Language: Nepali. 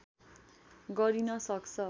गरिन सक्छ